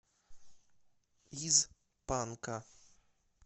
из панка